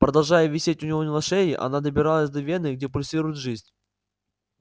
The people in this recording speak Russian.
продолжая висеть у него на шее она добиралась до вены где пульсирует жизнь